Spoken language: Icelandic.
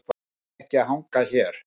Ég nenni ekki að hanga hér.